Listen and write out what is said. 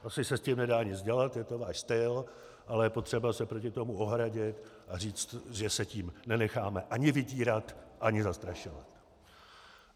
Asi se s tím nedá nic dělat, je to váš styl, ale je potřeba se proti tomu ohradit a říct, že se tím nenecháme ani vydírat, ani zastrašovat.